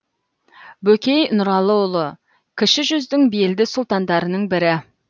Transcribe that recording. бөкей нұралыұлы кіші жүздің белді сұлтандарының бірі